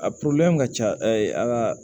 A ka ca an ka